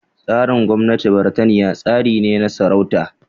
Tsarin gwamnatin Birtaniya tsari ne na sarauta